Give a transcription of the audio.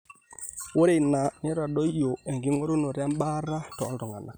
ore ina neitadoyio enking'orunoto ebaata tooltung'anak